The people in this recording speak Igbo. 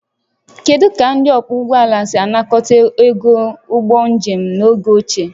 Kedu ka ndị ọkwọ ụgbọala si anakọta ego ụgbọ njem n'oge ochie?